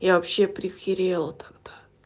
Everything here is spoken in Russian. я вообще прихерела тогда